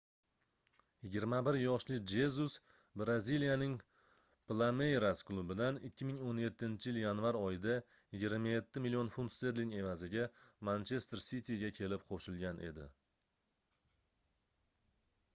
21 yoshli jezus braziliyaning plameyras klubidan 2017-yil yanvar oyida 27 million funt sterling evaziga manchester siti"ga kelib qo'shilgan edi